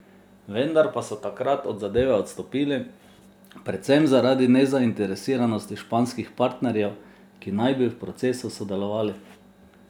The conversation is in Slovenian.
Vendar pa so takrat od zadeve odstopili, predvsem zaradi nezainteresiranosti španskih partnerjev, ki naj bi v procesu sodelovali.